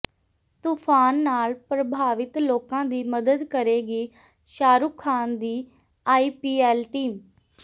ਤੂਫਾਨ ਨਾਲ ਪ੍ਰਭਾਵਿਤ ਲੋਕਾਂ ਦੀ ਮਦਦ ਕਰੇਗੀ ਸ਼ਾਹਰੂਖ ਖਾਨ ਦੀ ਆਈਪੀਐੱਲ ਟੀਮ